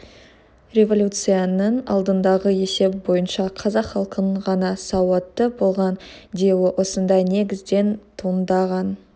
революцияның алдындағы есеп бойынша қазақ халқының ғана сауатты болған деуі осындай негізден туындаған